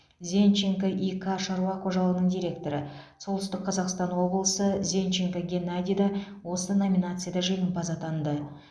зенченко и к шаруа қожалығының директоры солтүстік қазақстан облысы зенченко геннадий да осы номинацияда жеңімпаз атанды